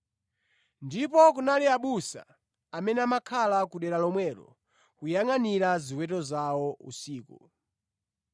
Ndipo kunali abusa amene amakhala ku dera lomwelo, kuyangʼanira ziweto zawo usiku.